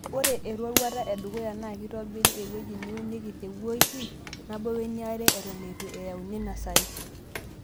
Ore eroruata edukuya naa kitobiri ewueji neunieki te woiki nabo weniare Eton eitu eyauni nasari.